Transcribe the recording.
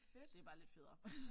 Det bare lidt federe